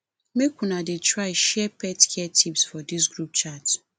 make una dey try share pet care tips for dis group chat